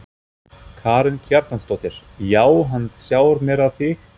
Karen Kjartansdóttir: Já hann sjarmerar þig?